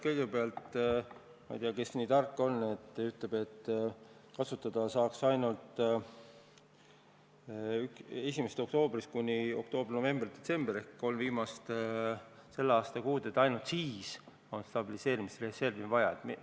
Kõigepealt, ma ei tea, kes on nii tark, et ütleb, et reservi saaks kasutada ainult 1. oktoobrist kuni aasta lõpuni – oktoober, november, detsember ehk selle aasta kolm viimast kuud –, et ainult siis on stabiliseerimisreservi vaja.